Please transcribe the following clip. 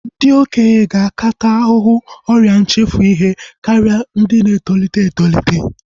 Ndị okenye ga-aka taa ahụhụ ọrịa nchefu ihe karịa ndị na-etolite etolite